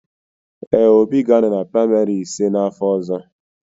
Ee, Obi ga-anọ na praịmarị ise n'afọ ọzọ.